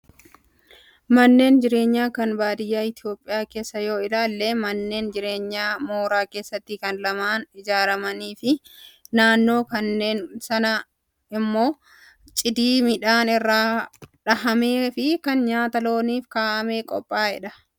Manneen jireenyaa kan baadiyyaa Itoophiyaa keessaa yoo ilaalle, manneen jireenyaa mooraa keessatti kan lamaan ijaaramanii fi naannoo manneen sanaa immoo cidii midhaan irraa dhahamee fi kan nyaata looniif kaa'amee qophaa'edha.